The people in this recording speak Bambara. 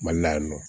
Mali la yan nɔ